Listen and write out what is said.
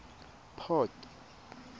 port